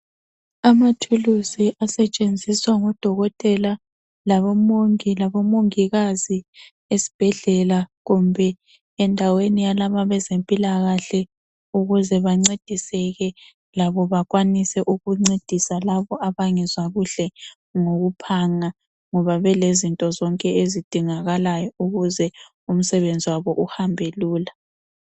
Amathuluzi asetshenziswa ngodokotela, labomongi labomongikazi esibhedlela kumbe endaweni yalaba abazempilakahle ukuze bancediseke labo bakwanise ukuncedisa labo abangezwa kuhle ngokuphanga, ngoba belezinto zonke ezidingakalayo ukuze umsebenzi wabo uhambe lula.